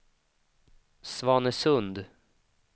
Svanesund